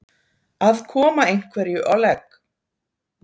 Að koma einhverju á legg